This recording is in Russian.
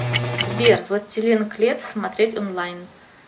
сбер властелин клец смотреть онлайн